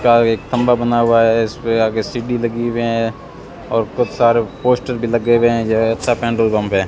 का एक खंभा बना हुआ है इस पे आगे सीढ़ी लगी हुए हैं और बहुत सारे पोस्टर भी लगे हुए हैं जो है अच्छा पेट्रोल पंप है।